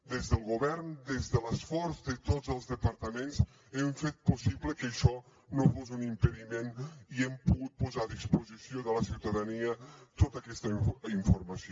des del govern des de l’esforç de tots els departaments hem fet possible que això no fos un impediment i hem pogut posar a disposició de la ciutadania tota aquesta informació